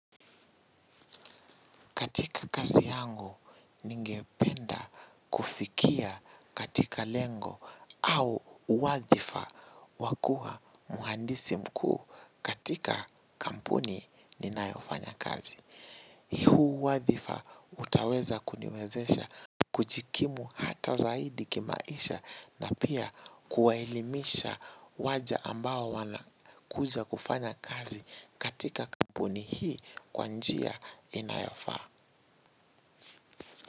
Katika kazi yangu ningependa kufikia katika lengo au uwadhifa wa kuwa mhandisi mkuu katika kampuni ninayofanya kazi. Huu wadhifa utaweza kuniwezesha kujikimu hata zaidi kimaisha na pia kuwaelimisha waja ambao wanakuja kufanya kazi katika kampuni hii kwa njia inayofaa.